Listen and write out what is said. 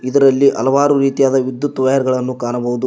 ಇದರಲ್ಲಿ ಹಲವಾರು ರೀತಿಯಾದ ವಿದ್ಯುತ್ ವಯರ್ ಗಳನ್ನು ಕಾಣಬಹುದು.